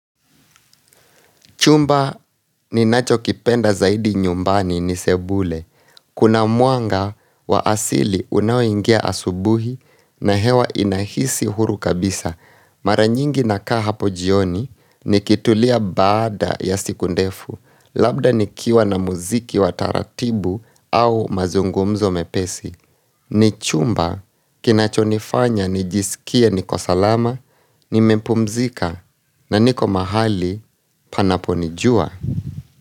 Chumba ni nacho kipenda zaidi nyumbani ni sebule. Kuna muanga wa asili unaoingia asubuhi na hewa inahisi huru kabisa. Mara nyingi nakaa hapo jioni nikitulia baada ya siku ndefu. Labda nikiwa na muziki wa taratibu au mazungumzo mepesi. Ni chumba, kinacho nifanya, nijisikie, niko salama, nimepumzika, na niko mahali panaponijua.